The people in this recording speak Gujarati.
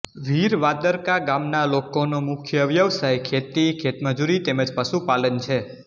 વીરવાદરકા ગામના લોકોનો મુખ્ય વ્યવસાય ખેતી ખેતમજૂરી તેમ જ પશુપાલન છે